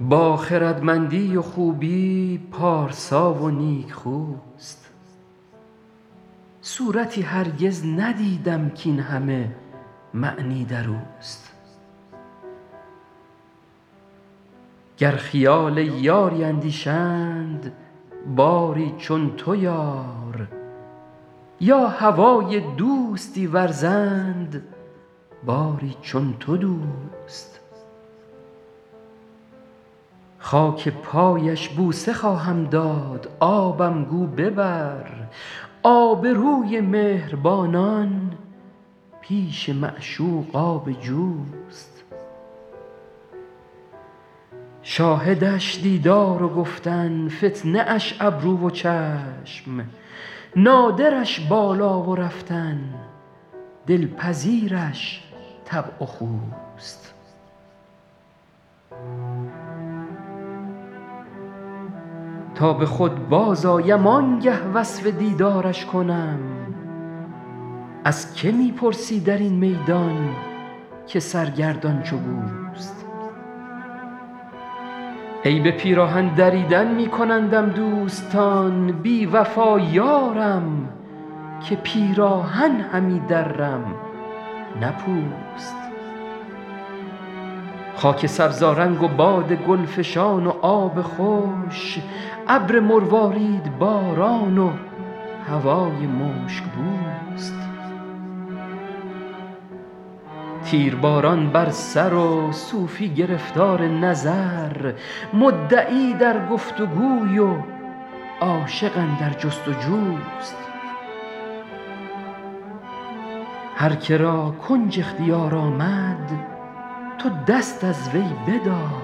با خردمندی و خوبی پارسا و نیکخوست صورتی هرگز ندیدم کاین همه معنی در اوست گر خیال یاری اندیشند باری چون تو یار یا هوای دوستی ورزند باری چون تو دوست خاک پایش بوسه خواهم داد آبم گو ببر آبروی مهربانان پیش معشوق آب جوست شاهدش دیدار و گفتن فتنه اش ابرو و چشم نادرش بالا و رفتن دلپذیرش طبع و خوست تا به خود بازآیم آن گه وصف دیدارش کنم از که می پرسی در این میدان که سرگردان چو گوست عیب پیراهن دریدن می کنندم دوستان بی وفا یارم که پیراهن همی درم نه پوست خاک سبزآرنگ و باد گل فشان و آب خوش ابر مرواریدباران و هوای مشک بوست تیرباران بر سر و صوفی گرفتار نظر مدعی در گفت وگوی و عاشق اندر جست وجوست هر که را کنج اختیار آمد تو دست از وی بدار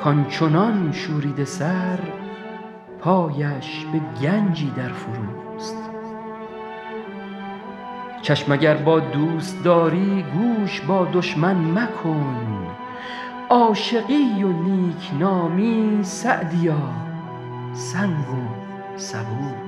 کان چنان شوریده سر پایش به گنجی در فروست چشم اگر با دوست داری گوش با دشمن مکن عاشقی و نیک نامی سعدیا سنگ و سبوست